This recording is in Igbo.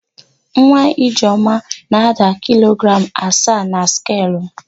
Nwa Ijeọma na-ada kilogram asaa na skelu.